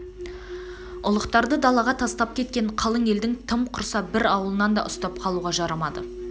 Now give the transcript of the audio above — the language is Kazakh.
ұлықтарды далаға тастап кеткен қалың елдің тым құрса бір ауылын да ұстап қалуға жарамады